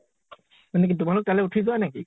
মানে কি তোমালোক তালে উঠি যোৱা নেকি ?